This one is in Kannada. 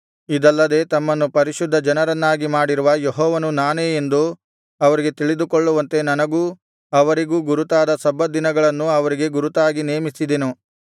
ಇದಲ್ಲದೆ ತಮ್ಮನ್ನು ಪರಿಶುದ್ಧ ಜನರನ್ನಾಗಿ ಮಾಡಿರುವ ಯೆಹೋವನು ನಾನೇ ಎಂದು ಅವರು ತಿಳಿದುಕೊಳ್ಳುವಂತೆ ನನಗೂ ಅವರಿಗೂ ಗುರುತಾದ ಸಬ್ಬತ್ ದಿನಗಳನ್ನು ಅವರಿಗೆ ಗುರುತಾಗಿ ನೇಮಿಸಿದೆನು